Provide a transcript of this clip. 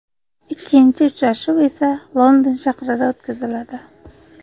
Ikkinchi uchrashuv esa London shahrida o‘tkaziladi.